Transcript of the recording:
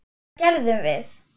Hvað gerðum við?